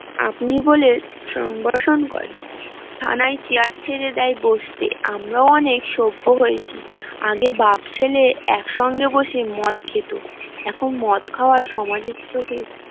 আপনি বলে সম্ভাসন করে থানায় চেয়ার ছেড়ে দেয় বসতে আম্রয়াও অনেক সভ্য হয়েছি আগে বাপ ছেলে একসাথে বসে মদ খেতো এখন মদ খাওয়া সমাজের চোখে